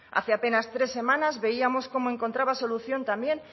hace apenas tres semanas veíamos cómo encontraba solución también